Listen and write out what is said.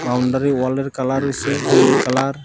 Boundary wall -এর colour হইসে হলুদ কালার ।